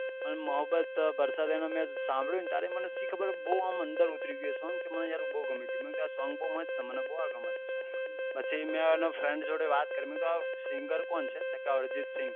અન મોહમ્બત બર્ષા દેના મેં શામ્બ્દીયું ત્યારે મન એટલી ખબર બહુ આમ અંદર ઉતરી ગયું એ સોંગ તો મને બહુ ગમ્યું હતું મેં કીધું એ સોંગ તો બહુ મસ્ત છે મને એ બહુ ગમ્યું છે પછી મેં એનો friend જોડે વાત કરી મેં કીધું આં સિંગર કોણ છે તો ક અર્જિત સિંગ